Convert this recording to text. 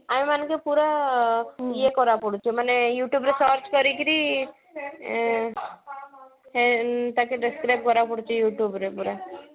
ଆମ ମାନେଙ୍କେ ପୁରା ଆଁ ଇଏ କରିବାର ପଡୁଛି ମାନେ youtube ରେ search କରିକିରି ଆଁ ସେ ତାକେ describe କରିବାକୁ ପଡୁଛି youtube ରେ ପୁରା